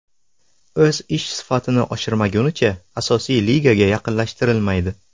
O‘z ish sifatini oshirmagunicha, asosiy ligaga yaqinlashtirilmaydi.